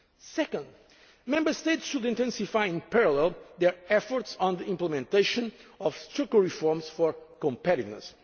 nominal deficits. Second, Member States should intensify in parallel their efforts on the implementation of structural reforms